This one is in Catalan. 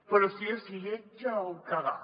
però si és lletja del cagar